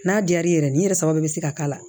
N'a diyar'i yɛrɛ ye nin yɛrɛ saba bɛ se ka k'a la